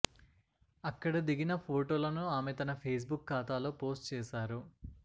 అక్కడ దిగిన ఫొటోలను ఆమె తన ఫేస్బుక్ ఖాతాలో పోస్ట్ చేశారు